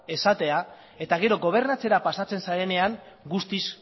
esatea eta gero gobernatzera pasatzen zarenean guztiz